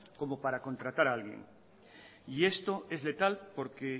como para contratar alguien y esto es letal porque